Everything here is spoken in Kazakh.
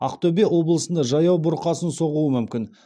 ақтөбе облысында жаяу бұрқасын соғуы мүмкін